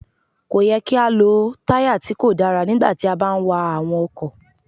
Kò yẹ kí á lọ táyà tí kò dára nígbà tí a bá ń wa àwọn ọkọ̀.